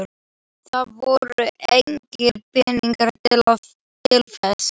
Það voru engir peningar til þess.